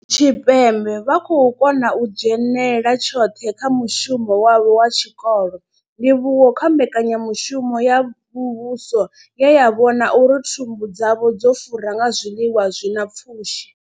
Tshipembe vha khou kona u dzhenela tshoṱhe kha mushumo wavho wa tshikolo, ndivhuwo kha mbekanya mushumo ya muvhuso ye ya vhona uri thumbu dzavho dzo fura nga zwiḽiwa zwi na pfushi.